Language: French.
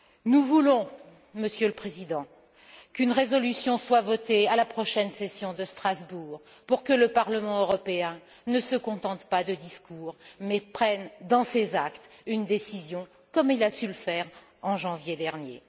Nous voulons, Monsieur le Président, qu'une résolution soit votée à la prochaine session de Strasbourg pour que le Parlement européen ne se contente pas de discours mais prenne, dans ses actes, une décision, comme il a su le faire en janvier dernier.